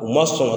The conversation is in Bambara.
U ma sɔn ka